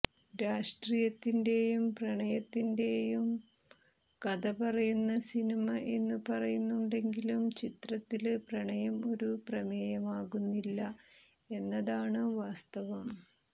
രാഷ്ട്രീയത്തിന്റെയും പ്രണയത്തിന്റെയും കഥ പറയുന്ന സിനിമ എന്നു പറയുന്നുണ്ടെങ്കിലും ചിത്രത്തില് പ്രണയം ഒരു പ്രമേയമേയാകുന്നില്ല എന്നതാണ് വാസ്തവം